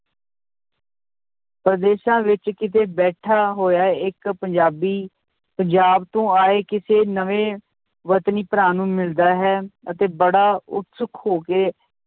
ਪ੍ਰਦੇਸ਼ਾਂ ਵਿੱਚ ਕਿਤੇ ਬੈਠਾ ਹੋਇਆ ਇੱਕ ਪੰਜਾਬੀ ਪੰਜਾਬ ਤੋਂ ਆਏ ਕਿਸੇ ਨਵੇਂ ਵਤਨੀ ਭਰਾ ਨੂੰ ਮਿਲਦਾ ਹੈ ਅਤੇ ਬੜਾ ਉਤਸੁਕ ਹੋ ਕੇ,